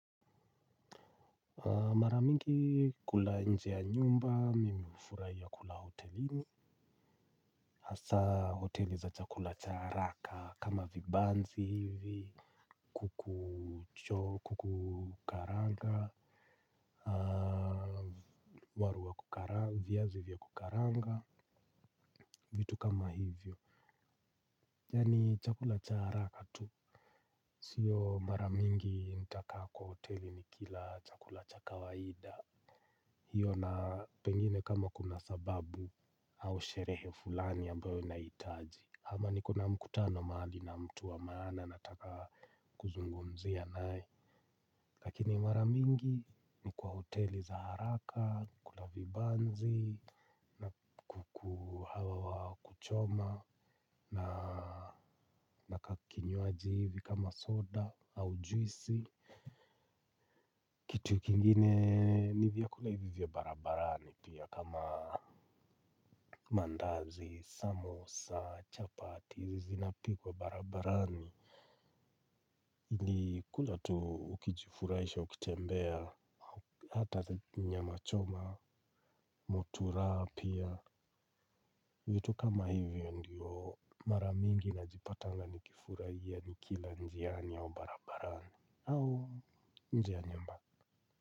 Maramingi kula nje ya nyumba, mimi hufurahia kula hotelini hasa hoteli za chakula cha haraka kama vibanzi hivi. Kukucho, kukukaranga Waru wa kukaranga, viazi vya kukaranga, vitu kama hivyo. Yaani chakula cha haraka tu. Sio maramingi nitakaa kwa hoteli ni kila chakula cha kawaida. Hiyo na pengine kama kuna sababu au sherehe fulani ambayo nahitaji ama nikona mkutano mahali na mtu wa maana nataka kuzungumzia naye. Lakini maramingi ni kwa hoteli za haraka, kula vibanzi na kuhawa wa kuchoma na na kakinywaji hivi kama soda au juisi. Kitu kingine ni vyakula hivyo vya barabarani pia kama mandazi, samosa, chapati, zinapikwa barabarani ni kula tu ukijifurahisha, ukitembea, hata nyama choma, muturaa pia vitu kama hivyo ndio mara mingi najipatanga nikifurahia nikila njiani au barabarani au nje ya nyumba.